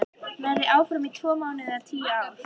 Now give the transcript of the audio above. Verð ég áfram í tvo mánuði eða tíu ár?